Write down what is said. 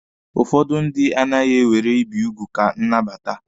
Ụfọdụ ndị anaghi ewere ibi ugwu ka nnabata.